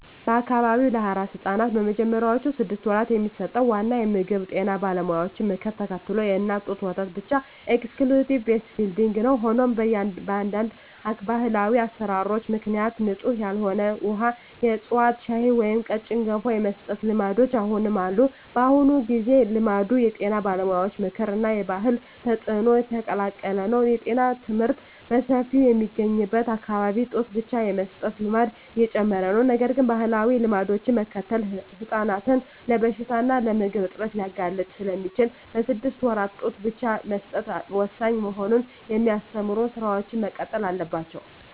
በአካባቢው ለአራስ ሕፃናት በመጀመሪያዎቹ ስድስት ወራት የሚሰጠው ዋና ምግብ የጤና ባለሙያዎችን ምክር ተከትሎ የእናት ጡት ወተት ብቻ (Exclusive Breastfeeding) ነው። ሆኖም፣ በአንዳንድ ባህላዊ አሠራሮች ምክንያት ንጹሕ ያልሆነ ውሃ፣ የዕፅዋት ሻይ ወይም ቀጭን ገንፎ የመስጠት ልማዶች አሁንም አሉ። በአሁኑ ጊዜ፣ ልማዱ የጤና ባለሙያዎች ምክር እና የባህል ተጽዕኖ የተቀላቀለ ነው። የጤና ትምህርት በሰፊው በሚገኝበት አካባቢ ጡት ብቻ የመስጠት ልማድ እየጨመረ ነው። ነገር ግን፣ ባህላዊ ልማዶችን መከተል ሕፃናትን ለበሽታ እና ለምግብ እጥረት ሊያጋልጥ ስለሚችል፣ በስድስት ወራት ጡት ብቻ መስጠት ወሳኝ መሆኑን የሚያስተምሩ ሥራዎች መቀጠል አለባቸው።